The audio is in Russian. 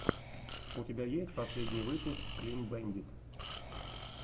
у тебя есть последний выпуск клин бэндит